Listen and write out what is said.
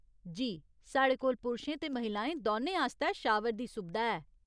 जी, साढ़े कोल पुरशें ते महिलाएं दौनें आस्तै शावर दी सुबधा है।